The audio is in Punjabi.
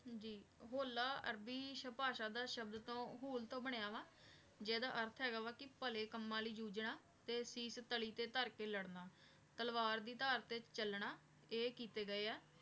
ਜੀ ਹੋਲਾ ਅਰਬੀ ਪਾਸ਼ਾ ਦਾ ਸ਼ਾਬ੍ਧ ਤੋਂ ਹੋਲ ਤੋਂ ਬਨਯ ਵਾ ਜੇਦਾ ਏਆਰਥ ਹੇਗਾ ਵਾ ਕੀ ਭਲੇ ਕਮਾਨ ਲੈ ਜੂਝਨਾ ਤੇ ਸੀਸ ਤਲੀ ਤੇ ਤਾਰ ਕੇ ਲਾਰਨਾ ਤਲਵਾਰ ਇ ਧਰ ਤੇ ਚਲੰਦਾ ਆਯ ਕਿਤੇ ਗਾਯ ਆ